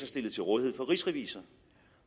stillet til rådighed for rigsrevisor